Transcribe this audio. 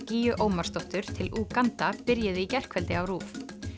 gígju Ómarsdóttur til Úganda byrjuðu í gærkvöldi á RÚV